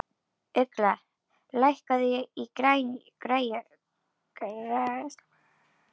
Ugla, lækkaðu í græjunum.